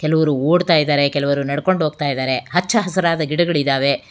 ಕೆಲವರು ಓಡ್ತಾ ಇದ್ದಾರೆ ಕೆಲವರು ನಡ್ಕೊಂಡು ಹೋಗ್ತಾ ಇದ್ದಾರೆ ಹಚ್ಚಾ ಹಸಿರಾದ ಗಿಡಗಳು ಇದ್ದಾವೆ.